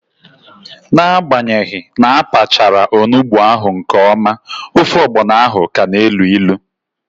N'agbanyeghi na apachara onugbu ahụ nke ọma, ofe ọgbọno ahụ ka na elu ilu